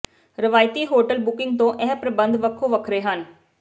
ਰਵਾਇਤੀ hotel booking ਤੋਂ ਇਹ ਪ੍ਰਬੰਧ ਵੱਖੋ ਵੱਖਰੇ ਹਨ